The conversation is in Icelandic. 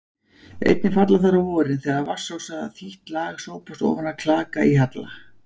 Einnig falla þær á vorin þegar vatnsósa þítt lag sópast ofan af klaka í halla.